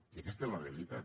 i aquesta és la realitat